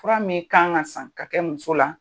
Fura min kan ka san ka kɛ muso la.